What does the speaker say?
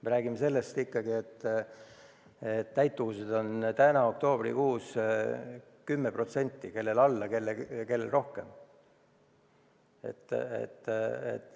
Me räägime sellest, et täituvus on täna, oktoobrikuus 10% – kellel vähem, kellel rohkem.